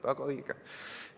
Väga õige!